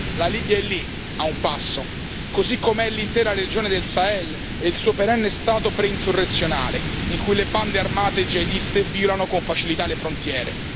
La Libia è lì, a un passo, così come l'intera regione del Sahel e il suo perenne stato preinsurrezionale, in cui le bande armate jihadiste violano con facilità le frontiere.